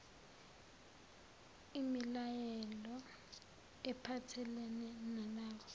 imilayelo ephathelene nalawo